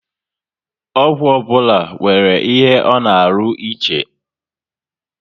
Ọgwụ ọbụla nwere ihe ọ na arụ ịche